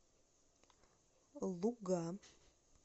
луга